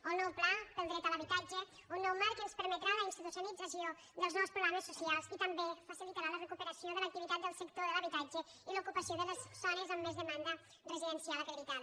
o el nou pla del dret a l’habitatge un nou marc que ens permetrà la institucionalització dels nous programes socials i també facilitarà la recuperació de l’activitat del sector de l’habitatge i l’ocupació de les zones amb més demanda residencial acreditada